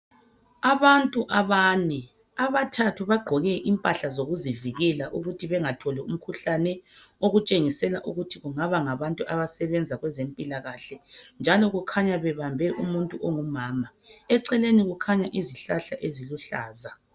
Abantu abane abathathu bagqoke impahla zokuzivikela ukuthi bengatholi umkhuhlane okutshengisela ukuthi kungaba ngabantu abasebenza kwezempilakahle njalo kukhanya bebambe umuntu ongumama eceleni kukhanya izihlahla eziluhlaza.